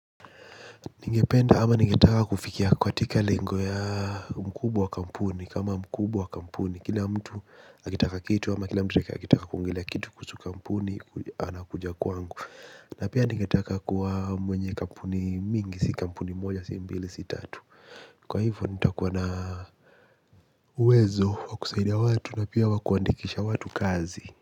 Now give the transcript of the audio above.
Ningependa ama ningetaka kufikia katika lengo ya mkubwa wa kampuni kama mkubwa wa kampuni kila mtu akitaka kitu ama kila mtu akitaka kuongelea kitu kuhusu kampuni anakuja kwangu. Na pia ningetaka kuwa mwenye kampuni mingi si kampuni moja si mbili si tatu. Kwa hivyo nitakuwa na uwezo wa kusaidia watu na pia wa kuandikisha watu kazi.